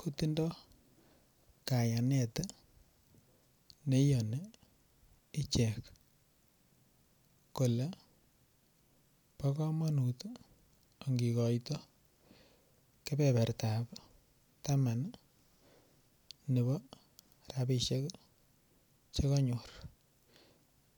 kotindoi kayanet neiyoni ichek kole bo komonut angikoito kebebertap taman nebo ropishek chikanyor